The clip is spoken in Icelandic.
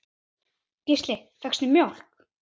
Gísli: Fékkstu mjólk?